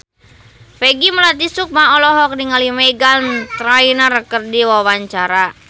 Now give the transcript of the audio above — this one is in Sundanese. Peggy Melati Sukma olohok ningali Meghan Trainor keur diwawancara